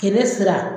Kɛnɛ sira